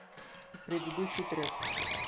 предыдущий трек